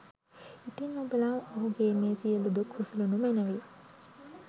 ඉතින් ඔබලා ඔහුගේ මේ සියළු දුක් උසුලනු මැනවි